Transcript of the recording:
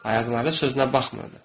Ayaqları sözünə baxmırdı.